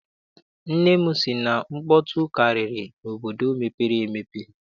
Nne m sị na nkpọtụ karịrị n'obodo mepere emepe.